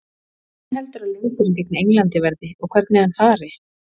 Hvernig heldurðu að leikurinn gegn Englandi verði og hvernig hann fari?